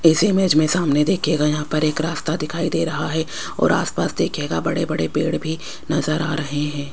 इस इमेज में सामने देखिएगा यहां पर एक रास्ता दिखाई दे रहा है और आसपास देखिएगा बड़े बड़े पेड़ भी नजर आ रहे हैं।